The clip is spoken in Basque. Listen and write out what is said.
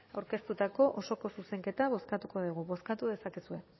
aurkeztutako osoko zuzenketa bozkatuko dugu bozkatu dezakegu